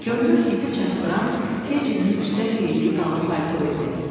Görünür, iti çaşdıran Fecinin üstdən geydiyi qalın palto idi.